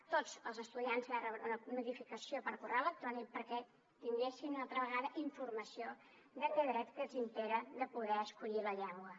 tots els estudiants van rebre una notificació per correu electrònic perquè tinguessin una altra vegada informació d’aquest dret que impera de poder escollir la llengua